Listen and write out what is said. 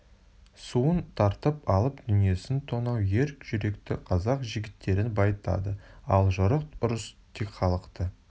суын тартып алып дүниесін тонау ер жүректі қазақ жігіттерін байытады ал жорық ұрыс тек халықты